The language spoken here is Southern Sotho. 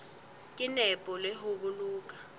ka nepo le ho boloka